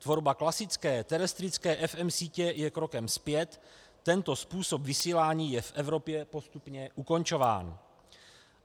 Tvorba klasické terestrické FM sítě je krokem zpět, tento způsob vysílání je v Evropě postupně ukončován.